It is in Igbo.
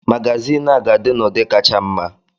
Magyazin a ga-adị n'ụdị kacha mma